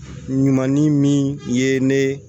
Ɲuman ni min ye ne